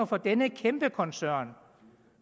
for denne kæmpe koncern